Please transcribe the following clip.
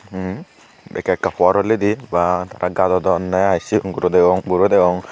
tey ekka ekka por orlidi ba tara gadodonney i sigon guro degong buro degong.